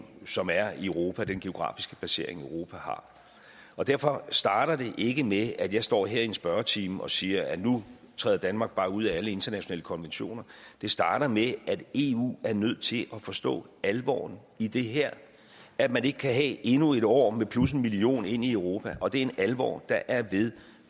som er i europa i den geografiske placering europa har derfor starter det ikke med at jeg står her i en spørgetime og siger at nu træder danmark bare ud af alle internationale konventioner det starter med at eu er nødt til at forstå alvoren i det her at man ikke kan have endnu et år med plus en million ind i europa og det er en alvor der er ved